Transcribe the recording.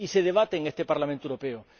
Y se debate en este Parlamento Europeo.